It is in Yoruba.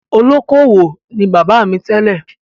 Olókoowò ni bàbá mi tẹ́lẹ̀.